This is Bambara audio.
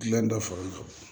Gilan dɔ foro kɔnɔ